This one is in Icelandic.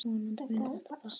Vonandi mun þetta batna.